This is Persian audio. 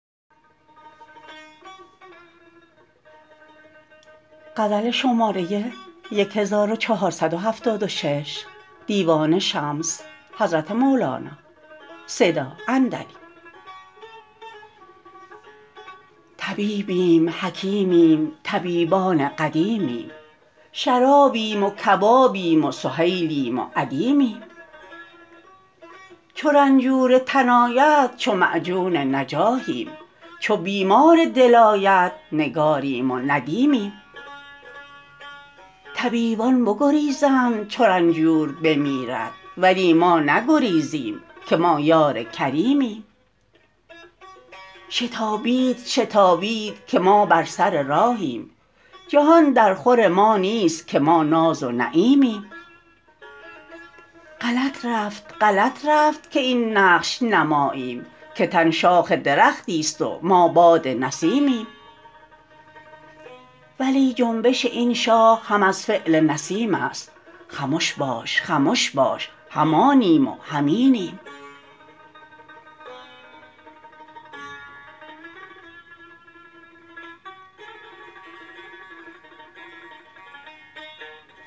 طبیبیم حکیمیم طبیبان قدیمیم شرابیم و کبابیم و سهیلیم و ادیمیم چو رنجور تن آید چو معجون نجاحیم چو بیمار دل آید نگاریم و ندیمیم طبیبان بگریزند چو رنجور بمیرد ولی ما نگریزیم که ما یار کریمیم شتابید شتابید که ما بر سر راهیم جهان درخور ما نیست که ما ناز و نعیمیم غلط رفت غلط رفت که این نقش نه ماییم که تن شاخ درختی است و ما باد نسیمیم ولی جنبش این شاخ هم از فعل نسیم است خمش باش خمش باش هم آنیم و هم اینیم